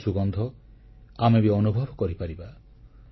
ଭଲକାମର ସୁଗନ୍ଧ ଆମେ ବି ଅନୁଭବ କରିପାରିବା